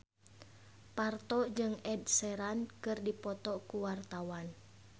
Parto jeung Ed Sheeran keur dipoto ku wartawan